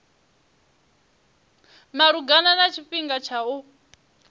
malugana na tshifhinga tsha u